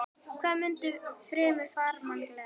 Hvað mundi fremur farmann gleðja?